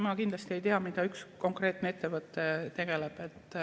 Ma kindlasti ei tea, millega üks konkreetne ettevõte tegeleb.